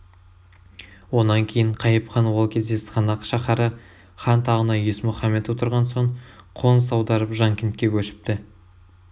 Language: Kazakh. онан кейін қайып хан ол кезде сығанақ шаһары хан тағына есмұхаммед отырған соң қоныс аударып жанкентке көшіпті